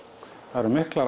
það eru miklar